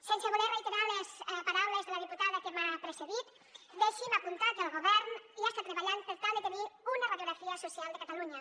sense voler reiterar les paraules de la diputada que m’ha precedit deixin me apuntar que el govern ja està treballant per tal de tenir una radiografia social de catalunya